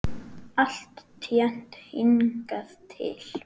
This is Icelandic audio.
Alltént hingað til.